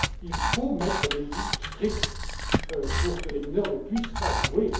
Il faut mettre des limites strictes pour que les mineurs ne puissent pas